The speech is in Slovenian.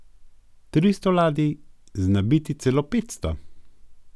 Tristo ladij, znabiti celo petsto.